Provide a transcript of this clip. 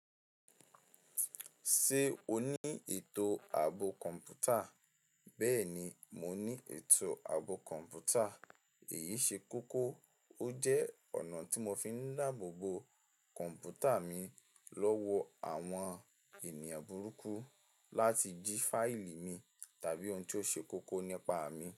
Ṣé o ní ètò ààbò kọ̀ǹpútà? Bẹ́ẹ̀ni, mo ní ètò ààbò kọ̀ǹpútà. Èyí ṣe kókó, ó jẹ́ ọ̀nà tí mo fi ń láàbò bo kọ̀ǹpútà mi lọ́wọ́ àwọn ènìyàn burúkú láti jí fáìlì mi tàbí ohun tó ṣe kókó nípa mi.